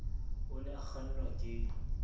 o ne a kgannwa ke